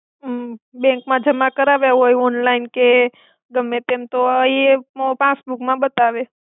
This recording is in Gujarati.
હ બેંક મા જમા કરાવયા હોય ઓંનલાઇન કે ગમે તેમ તો આ ઇ પાસ્સ્બુક મા બતાવે.